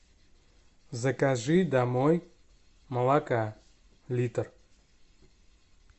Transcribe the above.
закажи домой молока литр